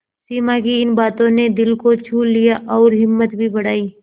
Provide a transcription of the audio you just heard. सिमा की इन बातों ने दिल को छू लिया और हिम्मत भी बढ़ाई